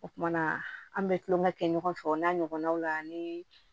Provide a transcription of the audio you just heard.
O kuma na an bɛ tulonkɛ kɛ ɲɔgɔn fɛ o n'a ɲɔgɔnnaw la ni